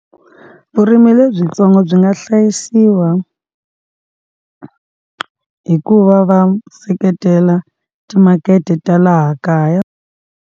Vurimi lebyitsongo byi nga hlayisiwa hi ku va va seketela timakete ta laha kaya.